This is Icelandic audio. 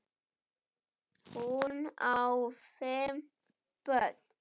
Sem þeir samt eru.